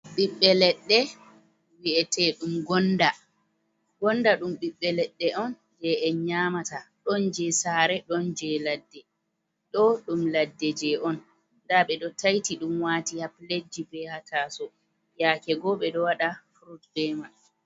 Ɓiɓɓe leɗɗe ɓi'eteeɗum Gonnda, Gonnda ɗum ɓiɓɓe leɗɗe on jey en nyaamata. Ɗon jey saare ɗon jey ladde. Ɗoo ɗum ladde jey on, ndaa ɓe ɗo tayti ɗum waati ha piletji bee ha taaso yaake goo ɓe ɗo waɗa furut bee man.